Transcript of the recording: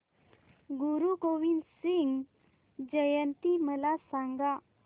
गुरु गोविंद सिंग जयंती मला सांगा